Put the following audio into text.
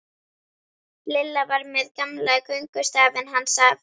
Lilla var með gamla göngustafinn hans afa.